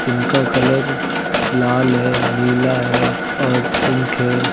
इनका कलर लाल है नीला है और पिंक है।